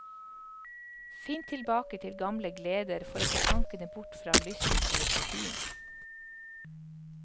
Finn tilbake til gamle gleder for å få tankene bort fra lysten på nikotin.